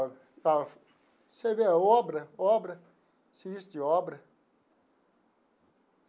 Você vê, obra, obra, serviço de obra.